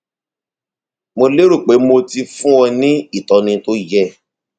mo lérò pé mo ti fún ọ ní ìtọni tó yẹ